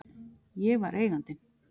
Ég var Eigandinn.